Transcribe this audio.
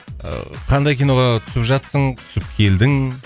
ыыы қандай киноға түсіп жатырсың түсіп келдің